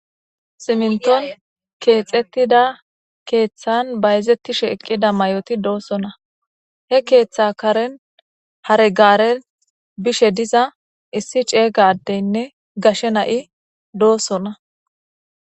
Simintuwa keexetida keeththan bayzetishe ekkida mayooti doosona he keeththa karen hare gaare bishe diza issi ceega adenne gashe na'i doosona.